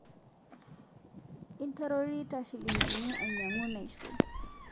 Intarorita shilingini ainyang'u naishuo